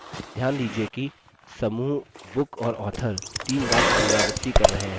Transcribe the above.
ध्यान दीजिये कि समूह: book और author तीन बार पुनरावृत्ति कर रहे हैं